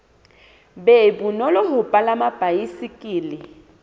be bonolo ho palama baesekele